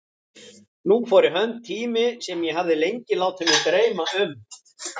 Nú fór í hönd tími sem ég hafði lengi látið mig dreyma um.